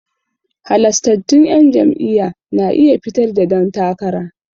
Halastattun 'yan jam'iyya na iya fitar da dan takara.